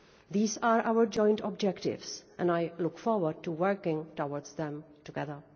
These are our joint objectives, and I look forward to working towards them together.